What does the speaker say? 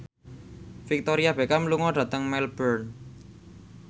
Victoria Beckham lunga dhateng Melbourne